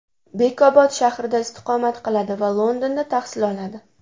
Bekobod shahrida istiqomat qiladi va Londonda tahsil oladi.